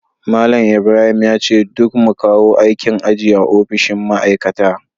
Malam Ibrahim yace duk mu kawo aikin aji a ofishin ma'aikata